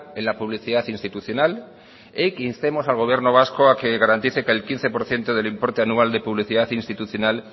en la publicidad institucional y que instemos al gobierno vasco a que garantice que el quince por ciento del importe anual de publicidad institucional